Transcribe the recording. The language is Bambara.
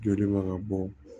Jɔlen man ka bɔ